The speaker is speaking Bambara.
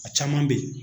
A caman bɛ ye